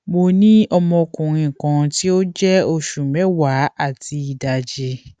mo ni ọmọkunrin kan ti o jẹ oṣu mẹwa ati idaji